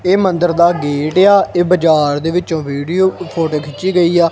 ਇਹ ਮੰਦਿਰ ਦਾ ਗੇਟ ਆ ਇਹ ਬਜਾਰ ਦੇ ਵਿਚੋਂ ਵੀਡਿਓ ਫ਼ੋਟੋ ਖਿੰਚੀ ਗਈ ਆ।